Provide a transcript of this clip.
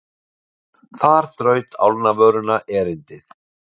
Þar þraut álnavöruna erindið.